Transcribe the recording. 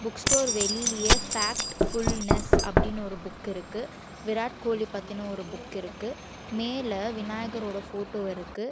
Book store வெளியில factfulness அப்படின்னு ஒரு புக் இருக்கு விராட் கோலி பத்தின ஒரு புக் இருக்கு மேல விநாயகர் ஓட போட்டோ இருக்கு.